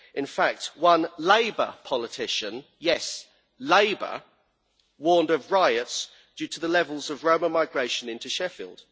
In fact one Labour politician yes, Labour warned of riots due to the levels of Roma migration into Sheffield.